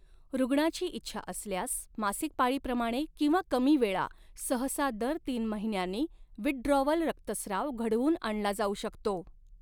रुग्णाची इच्छा असल्यास, मासिक पाळीप्रमाणे, किंवा कमी वेळा, सहसा दर तीन महिन्यांनी, विथड्रॉवल रक्तस्राव घडवून आणला जाऊ शकतो.